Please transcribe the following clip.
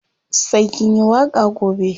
Sai kin yi waƙa gobe.